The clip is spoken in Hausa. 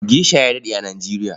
Gesha ya daɗe a Nijeriya.